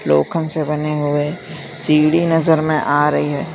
लोखंड से बने हुए सीढ़ी नजर में आ रही है।